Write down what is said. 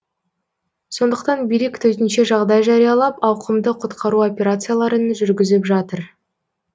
сондықтан билік төтенше жағдай жариялап ауқымды құтқару операцияларын жүргізіп жатыр